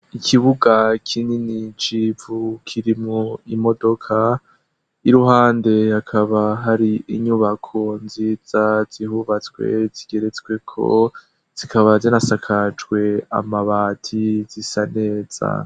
ikibuga kinini civu kirimwo imodoka y'iruhande hakaba hari inyubako nziza zihubatswe zigeretsweko zikaba zinasakajwe amabati zisaneza